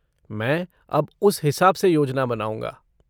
मैं अब उस हिसाब से योजना बनाऊँगा।